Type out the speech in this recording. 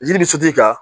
Jiri bɛ sotigi kan